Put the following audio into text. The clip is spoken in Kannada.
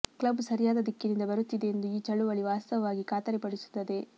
ಕ್ಲಬ್ ಸರಿಯಾದ ದಿಕ್ಕಿನಿಂದ ಬರುತ್ತಿದೆ ಎಂದು ಈ ಚಳುವಳಿ ವಾಸ್ತವವಾಗಿ ಖಾತರಿಪಡಿಸುತ್ತದೆ